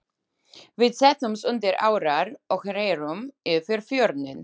Við settumst undir árar og rerum yfir fjörðinn.